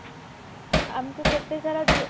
ଆମକୁ କେତେ ସାରା